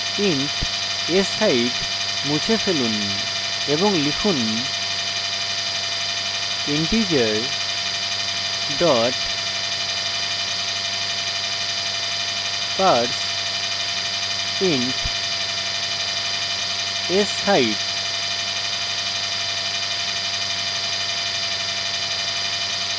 int sheight মুছে ফেলুন এবং লিখুন integer dot parseint sheight